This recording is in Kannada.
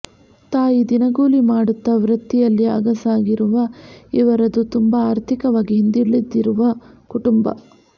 ತಾಯಿ ದಿನಗೂಲಿ ಮಾಡುತ್ತಾ ವೃತ್ತಿಯಲ್ಲಿ ಅಗಸರಾಗಿರುವ ಇವರದು ತುಂಬಾ ಆರ್ಥಿಕವಾಗಿ ಹಿಂದುಳಿದಿರುವ ಕುಟುಂಬ